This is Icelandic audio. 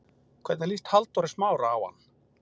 Hvernig líst Halldóri Smára á hann?